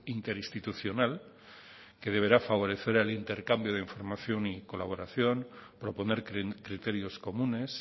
interinstitucional que deberá favorecer el intercambio de información y colaboración proponer criterios comunes